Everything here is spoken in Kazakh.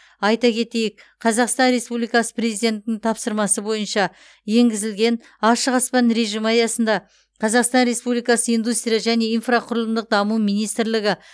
айта кетейік қазақстан республикасы президентінің тапсырмасы бойынша енгізілген ашық аспан режимі аясында қазақстан республикасы индустрия және инфрақұрылымдық даму министрлігі